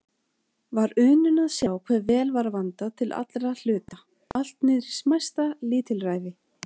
Var unun að sjá hve vel var vandað til allra hluta, allt niðrí smæsta lítilræði.